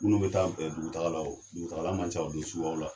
Minnu be taa be dugutaga la o dugutagala man ca o don suguyaw la